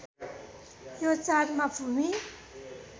यो चाडमा भूमि